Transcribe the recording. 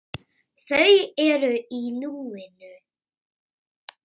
Þau eru í núinu.